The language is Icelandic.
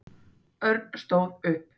Örn stóð upp.